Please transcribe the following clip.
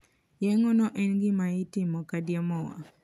Yeng`o no en gima itimo kadiemo wang`.